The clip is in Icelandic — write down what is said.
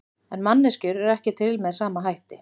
En manneskjur eru ekki til með sama hætti.